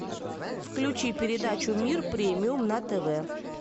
включи передачу мир премиум на тв